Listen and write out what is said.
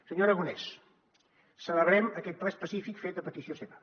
senyor aragonès celebrem aquest ple específic fet a petició seva